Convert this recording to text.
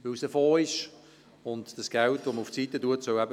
Das auf die Seite gelegte Geld soll eben auch dafür genutzt werden.